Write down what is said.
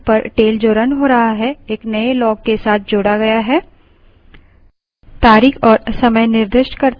आप देखेंगे कि terminal पर tail जो रन हो रहा है एक नए log के साथ जोड़ा गया है